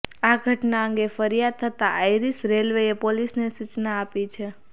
આ ઘટના અંગે ફરિયાદ થતાં આઇરિશ રેલવેએ પોલીસને સૂચના આપી છે